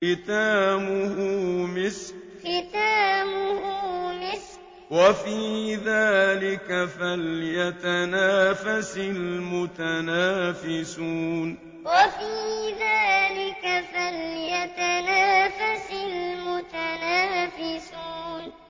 خِتَامُهُ مِسْكٌ ۚ وَفِي ذَٰلِكَ فَلْيَتَنَافَسِ الْمُتَنَافِسُونَ خِتَامُهُ مِسْكٌ ۚ وَفِي ذَٰلِكَ فَلْيَتَنَافَسِ الْمُتَنَافِسُونَ